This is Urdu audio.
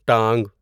ٹانگ